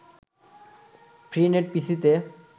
free net পিসিতে